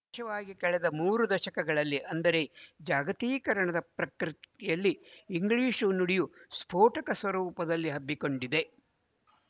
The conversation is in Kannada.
ವಿಶೇಷವಾಗಿ ಕಳೆದ ಈ ಮೂರು ದಶಕಗಳಲ್ಲಿ ಅಂದರೆ ಜಾಗತೀಕರಣದ ಪ್ರಕ್ರಿಯೆಯಲ್ಲಿ ಇಂಗ್ಲಿಶು ನುಡಿಯು ಸ್ಪೋಟಕ ಸ್ವರೂಪದಲ್ಲಿ ಹಬ್ಬಿಕೊಂಡಿದೆ